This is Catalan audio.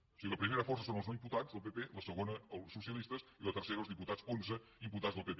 o sigui la primera força són els no imputats del pp la segona els socialistes i la tercera els diputats onze imputats del pp